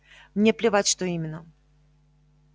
мне плевать что именно